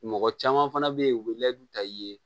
Mɔgɔ caman fana be yen u bɛ ta i ye